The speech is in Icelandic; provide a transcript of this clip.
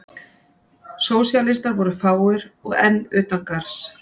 Sósíalistar voru fáir og enn utan garðs.